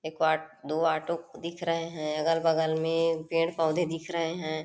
एक आ दो ऑटो दिख रहे है अलग-बगल में पेड़-पोधे दिख रहे है।